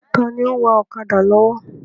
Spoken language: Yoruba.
Taàní ó ń wá ọ̀kadà lọ́wọ́?